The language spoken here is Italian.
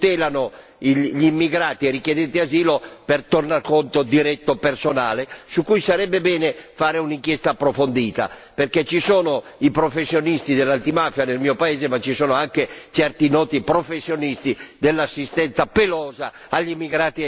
gli immigrati e i richiedenti asilo per tornaconto diretto personale su cui sarebbe bene fare un'inchiesta approfondita, perché ci sono i professionisti dell'antimafia nel mio paese ma ci sono anche certi noti professionisti dell'assistenza pelosa agli immigrati e ai clandestini.